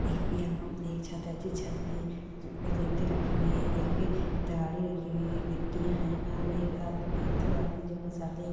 यहां एक छत हैं जी छत पे रेती रखी हुई हैं एक तगाड़ी रखी हुई हैं गिट्टियाँ हैं और एक आदमी दो आदमी जो मसाले--